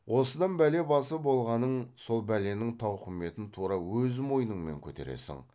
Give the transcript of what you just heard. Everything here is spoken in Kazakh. осыдан бәле басы болғаның сол бәленің тауқыметін тура өз мойныңмен көтересің